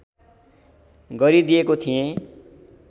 गरि दिएको थिएँ